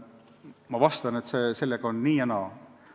Ma vastan, et sellega on nii ja naa.